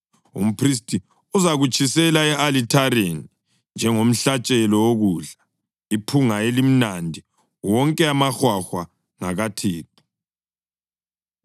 Umphristi uzakutshisela e-alithareni njengomhlatshelo wokudla, iphunga elimnandi. Wonke amahwahwa ngakaThixo.